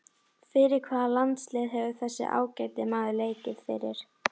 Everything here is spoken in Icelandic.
Fyrir hvaða landslið hefur þessi ágæti maður leikið fyrir?